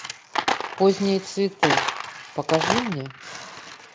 поздние цветы покажи мне